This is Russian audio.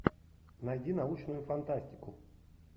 найди научную фантастику